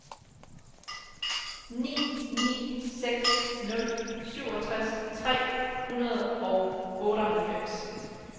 ni ni seks nul syvogtres tre hundrede og otteoghalvfems